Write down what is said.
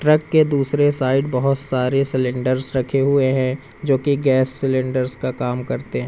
Truck के दूसरे side बहोत सारे सिलेंडरस् रखे हुए हैं जो की गैस सिलेंडरस् का काम करते है।